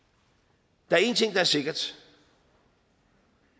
der er en ting der er sikker